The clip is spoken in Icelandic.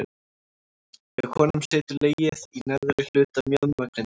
Hjá konum situr legið í neðri hluta mjaðmagrindar.